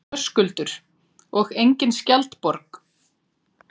Höskuldur: Og engin skjaldborg?